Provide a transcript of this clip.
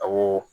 Awɔ